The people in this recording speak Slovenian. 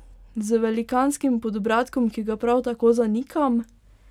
Z velikanskim podbradkom, ki ga prav tako zanikam!